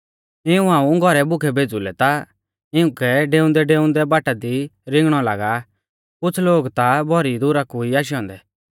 इऊं हाऊं घौरै भुखै भेज़ु लै ता इउंकै डेउंदैडेउंदै बाटा दी रिंगणौ लागा आ कुछ़ लोग ता भौरी दुरा कु ई आशै औन्दै